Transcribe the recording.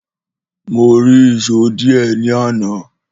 Mòri ìsó dìé ní àná